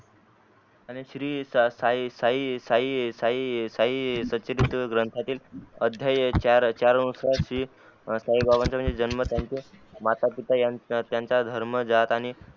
आणि श्री साई साई साई साई साई संचित ग्रंथातील अध्यय चार वंशाची साई बाबाच्या जन्माची माता पिता त्यांच्या धर्म जात आणि